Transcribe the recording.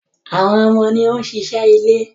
Àwọn ọmọ ni ó ń ṣiṣẹ́ ilé